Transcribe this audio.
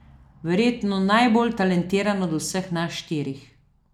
Verjetno najbolj talentirana od vseh nas štirih.